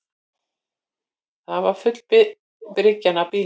Það var full bryggjan af bílum